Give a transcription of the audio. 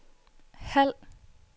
halv